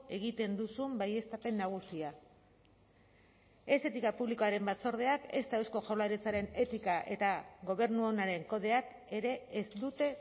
egiten duzun baieztapen nagusia ez etika publikoaren batzordeak ezta eusko jaurlaritzaren etika eta gobernu onaren kodeak ere ez dute